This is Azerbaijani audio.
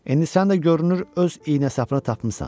İndi sən də görünür öz iynə sapını tapmısan.